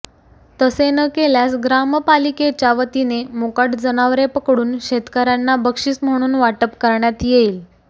तसे न केल्यास ग्रामपालिकेच्या वतीने मोकाट जनावरे पकडून शेतकऱ्यांना बक्षीस म्हणून वाटप करण्यात येईल